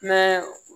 Mɛ